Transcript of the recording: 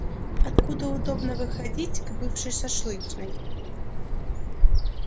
откуда удобно выходить к бывшей шашлычной